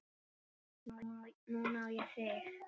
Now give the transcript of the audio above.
Núna á ég þig.